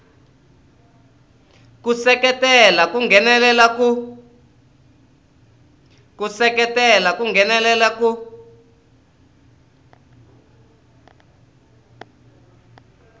ku seketela ku nghenelela ku